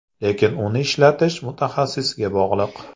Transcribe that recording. Lekin uni ishlatish mutaxassisga bog‘liq.